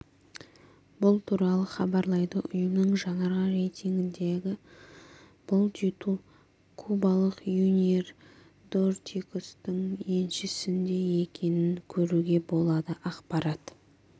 бұл туралы хабарлайды ұйымның жаңарған рейтингінде бұл титул кубалық юниер дортикостың еншісінде екенін көруге болады ақпарат